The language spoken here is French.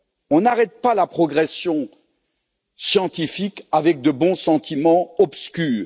On n'arrête pas la progression scientifique avec de bons sentiments obscurs.